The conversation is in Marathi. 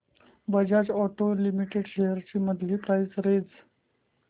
बजाज ऑटो लिमिटेड शेअर्स ची मंथली प्राइस रेंज